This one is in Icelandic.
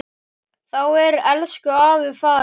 Þá er elsku afi farinn.